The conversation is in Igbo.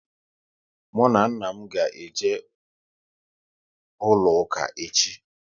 Mụ na nna m ga eje ụlọ ụka echi